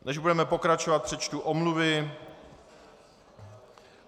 Než budeme pokračovat, přečtu omluvy.